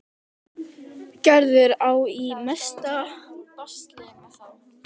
Gerður á í mesta basli með þá.